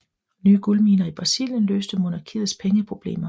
Nye guldminer i Brasilien løste monarkiets pengeproblemer